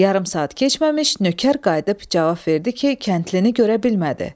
Yarım saat keçməmiş nökər qayıdıb cavab verdi ki, kəndlini görə bilmədi.